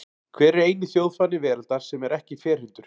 Hver er eini þjóðfáni veraldar sem er ekki ferhyrndur?